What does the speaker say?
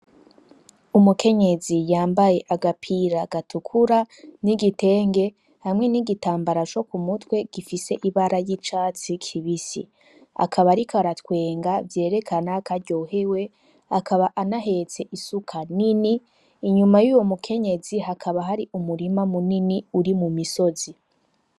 Umukenyezi yambaye agapira gatukura n'igitenge, hamwe n'igitambara cokumutwe gifise ibara y'icatsi kibisi, akaba ariko aratwenga vyerekana kw'aryohewe akaba ahetse isuka nini, inyuma yuwo mukenyezi hakaba harimwo umurima munini uri mumisozi.